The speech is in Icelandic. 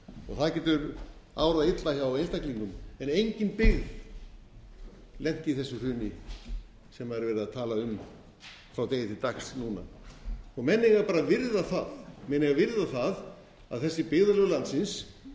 og það getur árað illa hjá einstaklingum en engin byggð lenti í þessu hruni sem er verið að tala um frá degi til dags núna menn eiga bara að virða það menn eiga að virða það að þessi byggðarlög